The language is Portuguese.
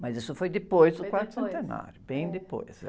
Mas isso foi depois...oi depois, é.o quarto centenário, bem depois.